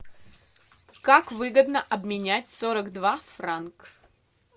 как выгодно обменять сорок два франк